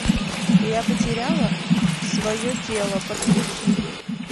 я потеряла свое тело подключи